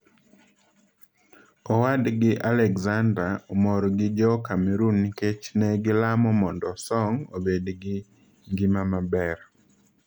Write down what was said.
Owadgi Alexandre omor gi jo Cameroon nikech ne gilamo mondo Song obed gi ngima maber.